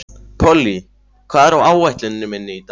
Polly, hvað er á áætluninni minni í dag?